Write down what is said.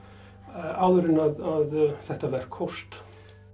áður en að þetta verk hófst